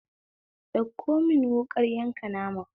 Ɗauko mun wuƙar yanka nama